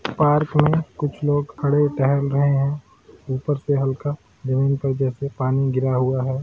Park में कुछ लोग खड़े टहल रहे हैं उपर से हल्का जमीन पर जैसे पानी गिरा हुआ है।